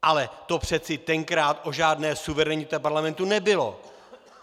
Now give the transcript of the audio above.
Ale to přece tenkrát o žádné suverenitě parlamentu nebylo!